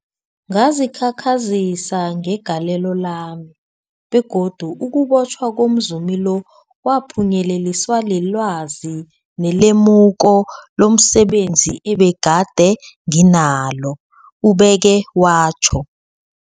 Ngazikhakhazisa ngegalelo lami, begodu ukubotjhwa komzumi lo kwaphunyeleliswa lilwazi nelemuko lomse benzi ebegade nginalo, ubeke watjho.